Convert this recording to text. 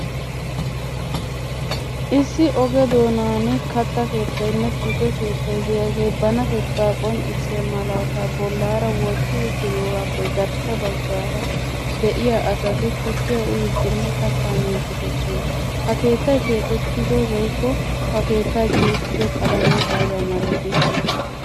Issi oge doonaani katta keettaynne tukke keettay diyaage banatetta qonccissiya malataa bollaara wotti uttidogaappe garssa baggaara de"iyaa asati tukkiya uyiddinne kattaa miiddi de'oosona. Ha keettay keexettido woyikko ha keettay tiyettido qalame aybaa malatii?